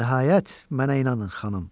Nəhayət mənə inanın, xanım.